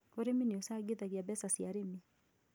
Ũrĩmi nĩ ũcangithagia mbeca cia arĩmi